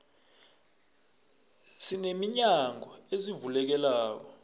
sine minyango ezivulekelako